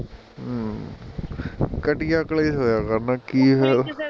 ਕਟੀਆਂ ਕਲੇਸ਼ ਹੋਇਆ ਕਰਨਾ ਕੀ ਐ ਫਿਰ